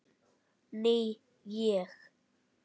Ný ég.